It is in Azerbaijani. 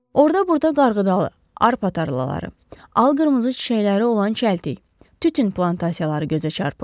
Orda-burda qarğıdalı, arpa tarlaları, al qırmızı çiçəkləri olan çəltik, tütün plantasiyaları gözə çarpırdı.